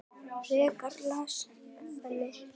Frekara lesefni